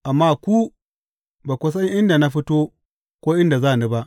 Amma ku ba ku san inda na fito ko inda za ni ba.